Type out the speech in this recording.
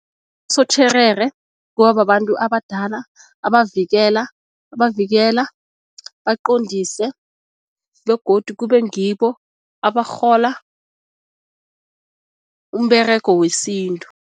Abosotjherere kuba babantu abadala abavikela abavikela baqondise begodu kube ngibo abarhola umberego wesintu.